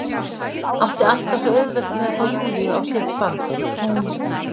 Átti alltaf svo auðvelt með að fá Júlíu á sitt band, hún